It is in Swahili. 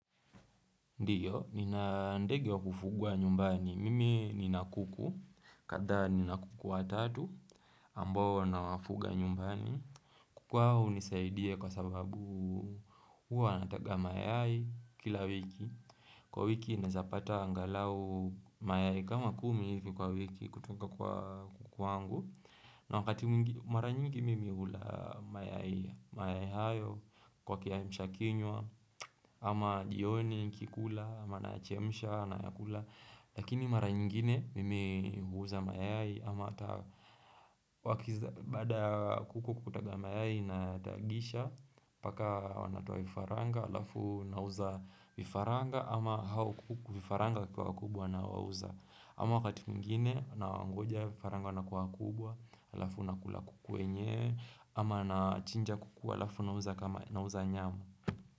Ndiyo, ninandege wa kufugwa nyumbani. Mimi ninakuku, kadhaa ninakuku watatu, ambao nawafuga nyumbani. Kuku hao hunisaidia kwasababu huwa wanataga mayai kila wiki. Kwa wiki nawezapata angalau mayai kama kumi hivi kwa wiki kutoka kwa kuku wangu. Na wakati mara nyingi mimi hula mayai hayo kwa kiaimsha kinywa ama jioni nikikula, ama nayachemsha, nayakula Lakini mara nyingine mimi huuza mayai ama baada kuku kutaga mayai nayatagisha mpaka wanatoa vifaranga halafu nauza vifaranga ama hao kuku vifaranga wakiwa wakubwa nawauza ama wakati mwingine na wangoja vifaranga wana kuwa wakubwa halafu nakula kuku wenyewe ama na chinja kuku halafu nauza kama nauza nyama.